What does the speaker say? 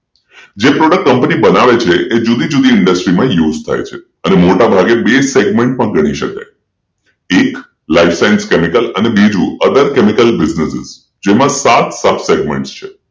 જે product company બનાવે છે જુદી-જુદી industry માં use થાય છેઅને મોટાભાગે બે segment પણ કરી શકાય એક License Chemical Other Chemical Business જેમાં સાત સાત segment છે